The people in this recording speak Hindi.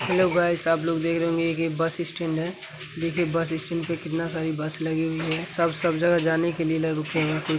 हेलो गाइस आप लोग देख रहे होंगे ये एक बस स्टेंड है देखिये बस स्टेंड पे कितना सारी बस लगी हुई है सब-सब जगह जाने के लिए रुके हुये है।